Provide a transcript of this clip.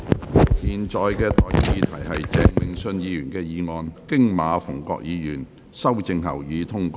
我現在向各位提出的待決議題是：鄭泳舜議員動議的議案，經馬逢國議員修正後，予以通過。